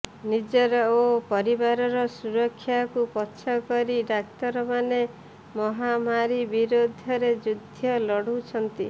ନିଜର ଓ ପରିବାରର ସୁରକ୍ଷାକୁ ପଛକରି ଡାକ୍ତରମାନେ ମହାମାରୀ ବିରୋଧରେ ଯୁଦ୍ଧ ଲଢୁଛନ୍ତି